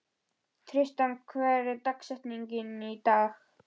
Tristana, hver er dagsetningin í dag?